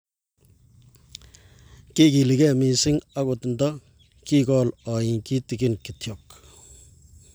kiikiligei mising akot nto kikool oi kitikin kityo